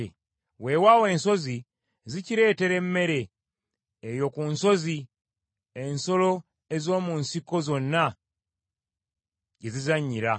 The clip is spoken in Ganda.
Weewaawo ensozi zikireetera emmere, eyo ku nsozi, ensolo ez’omu nsiko zonna gye zizannyira.